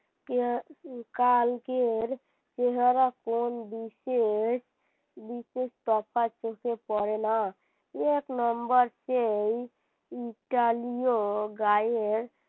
কালকের চেহারা টা কোন দৃশ্যের বিশেষ তফাৎ চোখে পড়ে না এক Number সেই ইটালিয় গায়ের